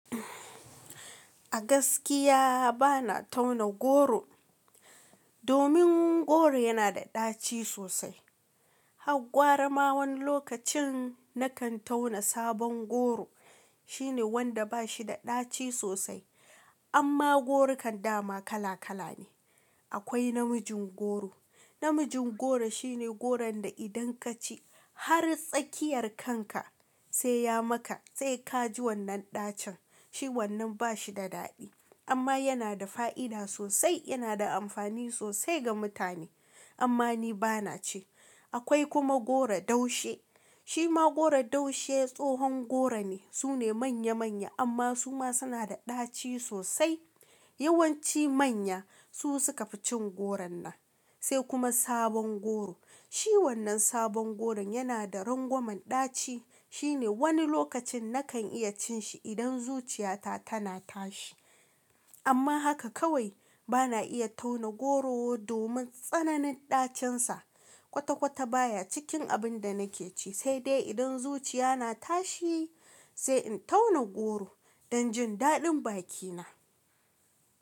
A gaskiya ba na tauna goro domin goro yana da ɗaci sosai. Har gwarama wani lokacin na kan tauna sabon goro shine wanda bashi da ɗaci sosai. Amma gorokan dama kala kala ne. Akwai namijin goro. Namijin goro shine goron da idan kaci har tsakiyar kanka sai ya maka sai ka ji wannan ɗacin. Shi wannan ba shi da daɗi amma yana da fa'ida sosai. Yana da amfani sosai ga mutane amma ni ba na ci. Akwai kuma goro daushe. Shi ma goro daushe tsohon goro ne. Su ne manya manya amma su ma suna da ɗaci sosai. Yawanci manya su suka fi cin goron nan. Sai kuma sabon goro. Shi wannan sabon goron yana da rangwamen ɗaci. Shine wani lokacin na kan iya cin shi idan zuciyata tana tashi. Amma haka kawai ba na iya tauna goro domin tsananin ɗacinsa. Kwata kwata baya cikin abin da nake ci sai dai idan zuciya na tashi sai in tauna goro don jin daɗin bakina.